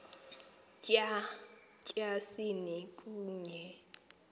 tya tyasini kunye